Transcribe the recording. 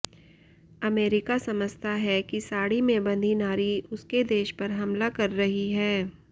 America समझता है कि साड़ी में बंधी नारी उसके देश पर हमला कर रही है